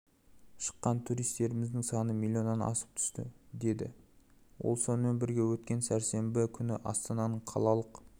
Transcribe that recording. шыққан туристеріміздің саны миллионнан асып түсті деді ол сонымен бірге өткен сәрсенбі күні астананың қалалық